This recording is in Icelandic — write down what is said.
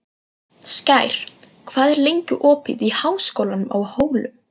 Skær, hvað er lengi opið í Háskólanum á Hólum?